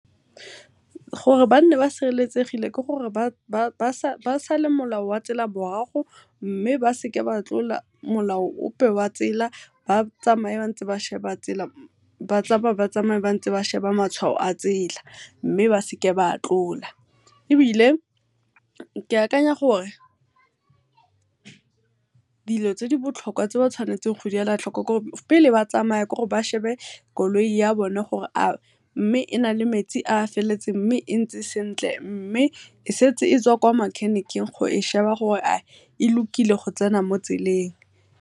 Gore ba nne ba sereletsegile ke gore ba sale molao wa tsela morago mme ba seka ba tlola molao ope wa tsela, ba tsamaye ba ntse ba sheba tsela ba tsamaye-tsamaye ntse ba sheba matshwao a tsela mme ba seke ba a tlola. Ebile ke akanya gore dilo tse di botlhokwa tse ba tshwanetseng go di ela tlhoko ke gore, pele ba tsamaya ba shebe koloi ya bone gore a mme e na le metsi a feletseng, mme e ntse sentle, mme e setse e tswa kwa makhenikheng go e sheba gore a e lokile go tsena mo tseleng.